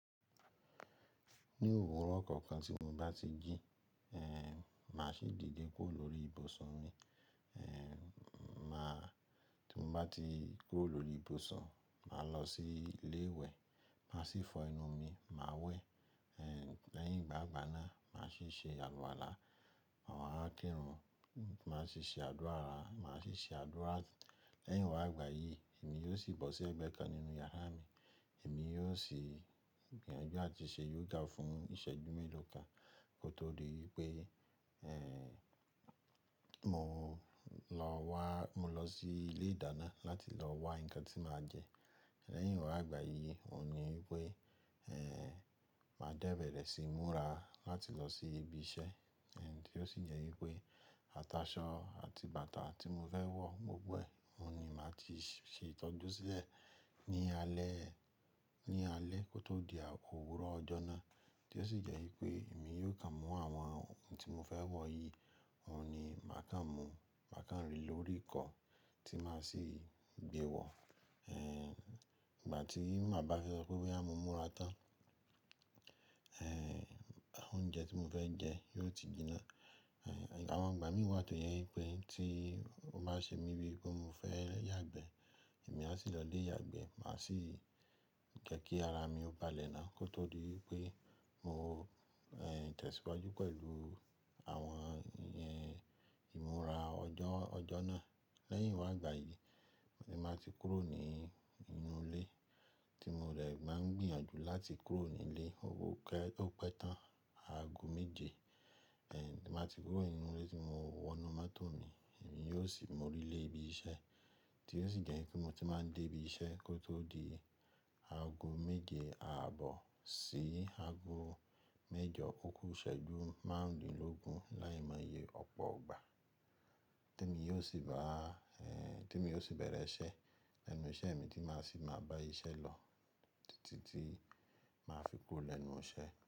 Ní òwúrọ̀ kọ̀ọ̀kan tí mo bá ti jimá sì dìde kúrò lórí ìbùsùn mi. Ti mo bá ti kúrò lórí ìbùsùn, máa lọ sí ilé ìwẹ̀, má sì fọ ẹnu mi, má wẹ̀. Lẹ́yìn ìgbàgbà náà, mà sì ṣe àlùwàlá, à wa kirun mà sì ṣe àdúrà. Lẹ́yìnwá gbà yìí, èmi yóò sì bọ́ sí ẹgbẹ́ kan nínú yàrá mi. Èmi yóò sì gbìyànjú láti ṣe yoga fún ìṣẹ́jú mélòó kan kó tó di wípé mò ń lọ sí ilé ìdáná láti lọ wá nǹkan tí mà jẹ. Lẹ́yìnwá gbà yìí, òun ni wípé mà dẹ́bẹ̀rẹ̀ sí mura láti lọ sí ibi iṣẹ́ tí ó sì jẹ́ wípé ataṣọ àti bàtà tí mo fẹ́ wọ̀ gbogbo ẹ̀, òun ni mà ti ṣe ìtọ́jú sílẹ̀ ní alẹ́ kó tó di òwúrọ̀ ọjọ́ náà tí ó sì jẹ́ wípé èmi yóò kà mú àwọn ohun tí mo fẹ́ wọ̀ yìí, òun ni mà kàń mú, mà kà ń rì lórí ikọ́ tí mà sì gbe wọ̀. Ìgbà tí mà bá fẹ́ sọ pé wí à mọ múra tán, óúnjẹ tí mo fẹ́ jẹ yóò ti jiná. Àwọn ìgbà mì tó je wípé tí o bá ṣe mí bi pé mo fẹ́ yàgbẹ́, èmi á sì lọ ile yàgbẹ́, mà sì jeki ara mi ó balẹ̀ náà kó tó di wípé mò ń tẹ̀síwájú pẹ̀lú àwọn ìmúra ọjọ́ náà. Lẹ́yìnwá gbà yìí ni mà ti kúrò nínú ilé tí mo de máa ń gbìyànjú láti kúrò ní ilé, o pẹ́ tán aago méje. Ti mà ti kúrò nínú ilé tí mo wọnú moto mí, èmi yóò sì mú orí lé ibi iṣẹ́ tí ó sì jẹ́ kí mo ti máa ń dé ibi iṣẹ́ kó tó di aago méje àbọ̀ sí aago mẹ́jọ òkú ìṣẹ́jú márùndínlógún láìmọye ọ̀pọ̀ gba te mi yóò sì bá-- tí mo yóò sì bẹ̀rẹ̀ iṣẹ́ lẹ́nu iṣẹ́ mi tí mà sì máa bá iṣẹ́ lọ títí tí mà fi kuro lẹ́nu iṣẹ́.